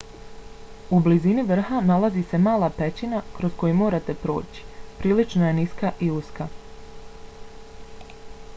u blizini vrha nalazi se mala pećina kroz koju morate proći prilično je niska i uska